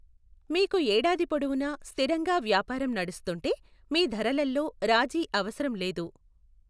మీకు ఏడాది పొడవునా స్థిరంగా వ్యాపారం నడుస్తుంటే, మీ ధరలల్లో రాజీ అవసరం లేదు.